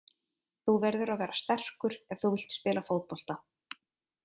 Þú verður að vera sterkur ef þú vilt spila fótbolta.